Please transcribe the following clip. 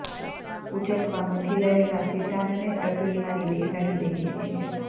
ઊંચકવા મથી રહેલા શેતાનને ટપલી મારી બેસાડી દઈએ છીએ